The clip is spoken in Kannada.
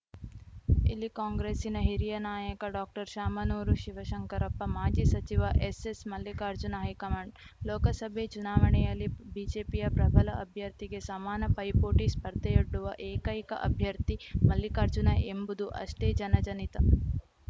ಇಲ್ಲಿ ಕಾಂಗ್ರೆಸ್ಸಿನ ಹಿರಿಯ ನಾಯಕ ಡಾಕ್ಟರ್ಶಾಮನೂರು ಶಿವಶಂಕರಪ್ಪ ಮಾಜಿ ಸಚಿವ ಎಸ್ಸೆಸ್‌ ಮಲ್ಲಿಕಾರ್ಜುನ್‌ ಹೈಕಮಾಂಡ್‌ ಲೋಕಸಭೆ ಚುನಾವಣೆಯಲ್ಲಿ ಬಿಜೆಪಿಯ ಪ್ರಬಲ ಅಭ್ಯರ್ಥಿಗೆ ಸಮಾನ ಪೈಪೋಟಿ ಸ್ಪರ್ಧೆಯೊಡ್ಡುವ ಏಕೈಕ ಅಭ್ಯರ್ಥಿ ಮಲ್ಲಿಕಾರ್ಜುನ ಎಂಬುದೂ ಅಷ್ಟೇ ಜನಜನಿತ